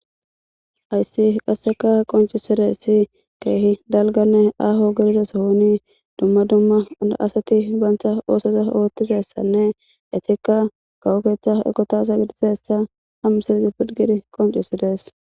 Ayssi qasseka qonciside si keehi dalganne aho girizasohoni dumma dumma a asati baancha oosoza oottizessanne etikka kawokeeththa ekotasa gidizessa ham silizi pidgidi qoncisidees